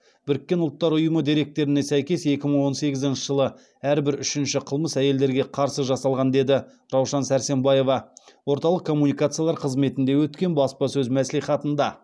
біріккен ұлттар ұйымы деректеріне сәйкес екі мың он сегізінші жылы әрбір үшінші қылмыс әйелдерге қарсы жасалған деді раушан сәрсембаева орталық коммуникациялар қызметінде өткен баспасөз мәслихатында